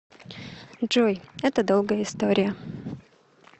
джой это долгая история